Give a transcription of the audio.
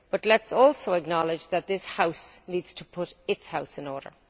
Let us also acknowledge that this House needs to put its house in order.